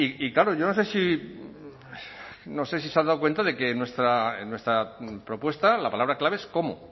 y claro yo no sé si no sé si se han dado cuenta de que en nuestra propuesta la palabra clave es cómo